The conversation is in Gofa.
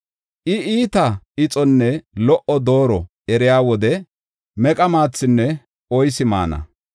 I, iitaa ixonne lo77o dooro eriya wode meqa maathinne oysi maana.